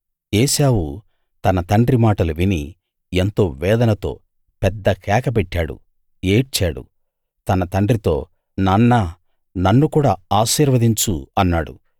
ఏశావు తన తండ్రి మాటలు విని ఎంతో వేదనతో పెద్ద కేక పెట్టాడు ఏడ్చాడు తన తండ్రితో నాన్నా నన్ను కూడా ఆశీర్వదించు అన్నాడు